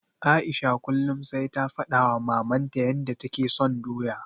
Aisha kullum sai ta faɗawa Mamanta yanda take son doya.